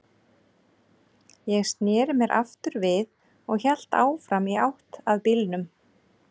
Ég sneri mér aftur við og hélt áfram í átt að bílnum.